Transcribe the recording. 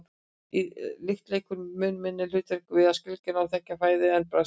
lykt leikur mun minna hlutverk við að skilgreina og þekkja fæðu en bragðskyn